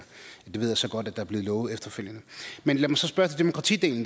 det ved jeg så godt at der er blevet lovet efterfølgende men lad mig så spørge til demokratidelen